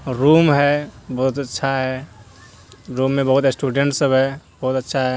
Room है बहोत अच्छा है रूम मे बहोत स्टूडेट सब है बहोत अच्छा है।